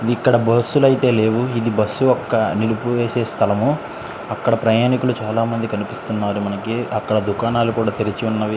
ఇక్కడ బస్సులు ఆయతే లేవు ఇధి బస్సు ఒక్క నిలిపివసే స్థలముఅక్కడ ప్రయాణీకులు చాల మంది కనిపిస్తారు మనకి అక్కడ ధుకనాలు కూడా తెరిచు వన్నవి.